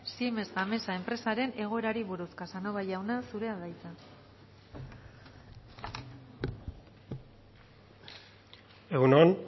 siemens gamesa enpresaren egoerari buruz casanova jauna zurea da hitza egun on